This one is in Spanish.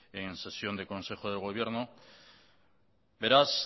en sesión de consejo de gobierno beraz